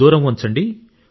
దూరం ఉంచండి